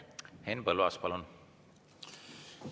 Henn Põlluaas, palun!